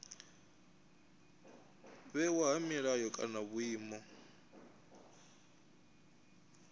vhewa ha milayo kana vhuimo